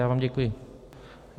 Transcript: Já vám děkuji.